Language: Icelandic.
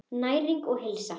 Næring og heilsa.